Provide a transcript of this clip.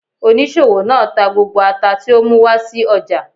Oníṣòwò náà tà gbógbó àtá ti ọ mú wá sí ọja.